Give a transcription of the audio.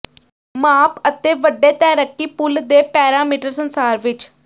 ਮਾਪ ਅਤੇ ਵੱਡੇ ਤੈਰਾਕੀ ਪੂਲ ਦੇ ਪੈਰਾਮੀਟਰ ਸੰਸਾਰ ਵਿੱਚ